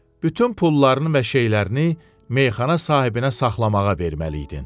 Bütün pullarını və şeylərini meyxana sahibinə saxlamağa verməli idin.